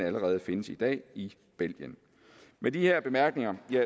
allerede findes i dag i belgien med de her bemærkninger vil